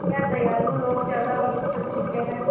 क्या दयालु लोग ज़्यादा वक़्त तक जीते हैं